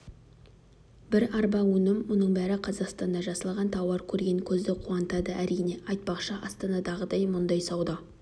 бір арба өнім мұның бәрі қазақстанда жасалған тауар көрген көзді қуантады әрине айтпақшы астанадағыдай мұндай сауда